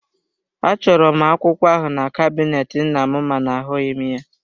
Achọrọ m akwụkwọ ahụ na kabinet nnam mana ahụghị m ya.